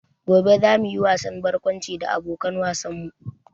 Gobe za mu yi wasan barkwanci da abokan wasan mu